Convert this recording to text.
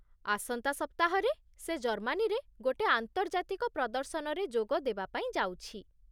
ଆସନ୍ତା ସପ୍ତାହରେ ସେ ଜର୍ମାନୀରେ ଗୋଟେ ଆନ୍ତର୍ଜାତିକ ପ୍ରଦର୍ଶନରେ ଯୋଗ ଦେବାପାଇଁ ଯାଉଛି।